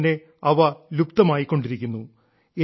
അതുകൊണ്ടു തന്നെ അവ ലുപ്തമായിക്കൊണ്ടിരിക്കുന്നു